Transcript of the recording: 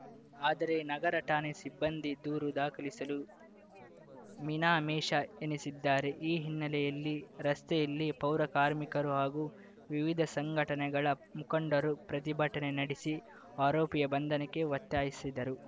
ಆದರೆ ನಗರಠಾಣೆ ಸಿಬ್ಬಂದಿ ದೂರು ದಾಖಲಿಸಲು ಮೀನಮೇಷ ಎಣಿಸಿದ್ದಾರೆ ಈ ಹಿನ್ನೆಲೆಯಲ್ಲಿ ರಸ್ತೆಯಲ್ಲೇ ಪೌರಕಾರ್ಮಿಕರು ಹಾಗೂ ವಿವಿಧ ಸಂಘಟನೆಗಳ ಮುಖಂಡರು ಪ್ರತಿಭಟನೆ ನಡೆಸಿ ಆರೋಪಿಯ ಬಂಧನಕ್ಕೆ ಒತ್ತಾಯಿಸಸಿದರು